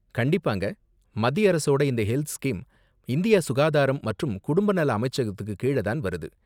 கண்டிப்பாங்க. மத்திய அரசோட இந்த ஹெல்த் ஸ்கீம் இந்திய சுகாதாரம் மற்றும் குடும்ப நல அமைச்சகத்துக்கு கீழ தான் வருது.